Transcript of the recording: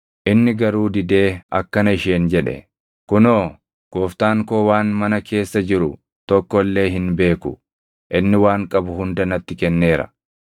Inni garuu didee akkana isheen jedhe; “Kunoo, gooftaan koo waan mana keessa jiru tokko illee hin beeku; inni waan qabu hunda natti kenneera.